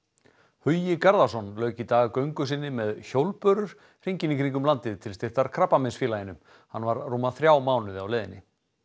Hugi Garðarsson lauk í dag göngu sinni með hjólbörur hringinn í kringum landið til styrktar Krabbameinsfélaginu hann var rúma þrjá mánuði á leiðinni